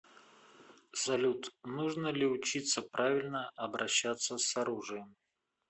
салют нужно ли учиться правильно обращаться с оружием